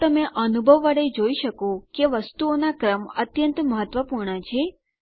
તો તમે અનુભવ વડે જોઈ શકો કે વસ્તુઓનો ક્રમ અત્યંત મહત્વપૂર્ણ છે